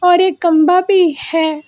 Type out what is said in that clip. और एक कम्बा भी है।